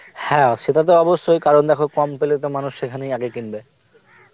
হ্যাঁ সেটা তো অবশ্যই কারণ দেখো কম পেলে তো মানুষ সেখানেই আগে কিনবে